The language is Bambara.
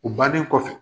U bannen kɔfɛ